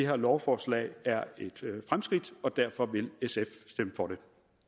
her lovforslag er et fremskridt og derfor vil sf stemme for det